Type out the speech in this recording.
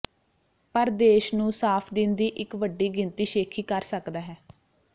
ਪਰ ਦੇਸ਼ ਨੂੰ ਸਾਫ ਦਿਨ ਦੀ ਇੱਕ ਵੱਡੀ ਗਿਣਤੀ ਸ਼ੇਖੀ ਕਰ ਸਕਦਾ ਹੈ